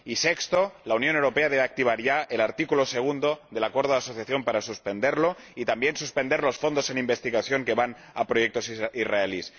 y sexto, la Unión Europea debe activar ya el artículo 2 del Acuerdo de Asociación para suspenderlo y también suspender los fondos de investigación que van a proyectos israelíes.